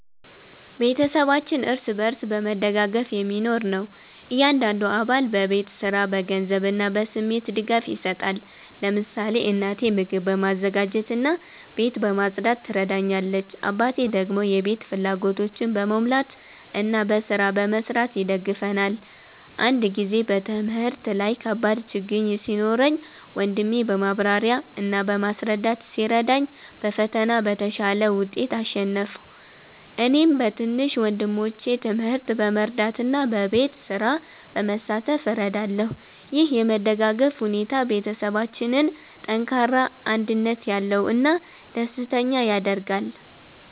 ቤተሰባችን እርስ በርስ በመደጋገፍ የሚኖር ነው። እያንዳንዱ አባል በቤት ስራ፣ በገንዘብ እና በስሜት ድጋፍ ይሰጣል። ለምሳሌ እናቴ ምግብ በማዘጋጀት እና ቤት በማጽዳት ትረዳኛለች፣ አባቴ ደግሞ የቤት ፍላጎቶችን በመሙላት እና በስራ በመስራት ይደግፈናል። አንድ ጊዜ በትምህርት ላይ ከባድ ችግኝ ሲኖረኝ ወንድሜ በማብራሪያ እና በማስረዳት ሲረዳኝ በፈተና በተሻለ ውጤት አሸነፍሁ። እኔም በትንሽ ወንድሞቼ ትምህርት በመርዳት እና በቤት ስራ በመሳተፍ እረዳለሁ። ይህ የመደጋገፍ ሁኔታ ቤተሰባችንን ጠንካራ፣ አንድነት ያለው እና ደስተኛ ያደርጋል።